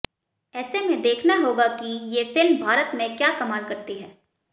ऐसे में देखना होगा कि ये फिल्म भारत में क्या कमाल करती है